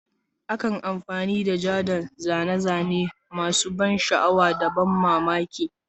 Akan amfani da ja don zane-zane masu ban sha'awa da ban mamaki.